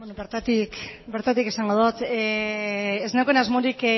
bertatik esango dut ez neukan asmorik